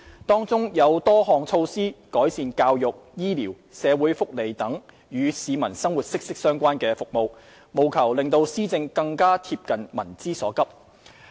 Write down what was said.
當中多項措施旨在改善教育、醫療、社會福利等與市民生活息息相關的服務，務求讓施政更貼近民之所急。